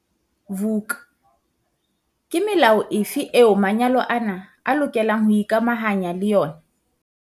Vuk- Ke melao efe eo manyalo ana a lokelang ho ikamahanya le yona?